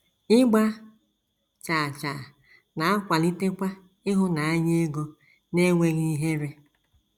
Ịgba chaa chaa na - akwalitekwa ịhụnanya ego n’enweghị ihere.